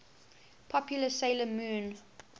popular 'sailor moon